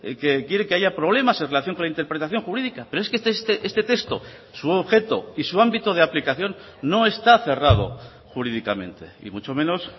que quiere que haya problemas en relación con la interpretación jurídica pero es que este texto su objeto y su ámbito de aplicación no está cerrado jurídicamente y mucho menos